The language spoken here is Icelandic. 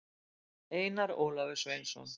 einar ólafur sveinsson